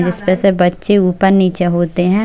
जिसपे से बच्चे ऊपर निचे हो रहे है।